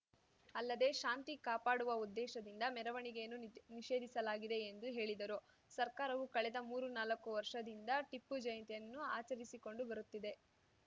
ಅಲ್ಲದೇ ಶಾಂತಿ ಕಾಪಾಡುವ ಉದ್ದೇಶದಿಂದ ಮೆರವಣಿಗೆಯನ್ನು ನಿಷೇಧಿಸಲಾಗಿದೆ ಎಂದು ಹೇಳಿದರು ಸರ್ಕಾರವು ಕಳೆದ ಮೂರುನಾಲಕ್ಕು ವರ್ಷದಿಂದ ಟಿಪ್ಪು ಜಯಂತಿಯನ್ನು ಆಚರಿಸಿಕೊಂಡು ಬರುತ್ತಿದೆ